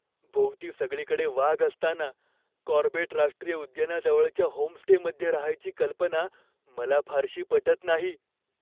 भोवती सगळीकडे वाघ असताना कॉर्बेट राष्ट्रीय उद्यानाजवळच्या होमस्टेमध्ये रहायची कल्पना मला फारशी पटत नाही.